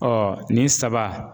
nin saba.